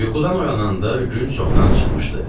Yuxudan oyananda gün çoxdan çıxmışdı.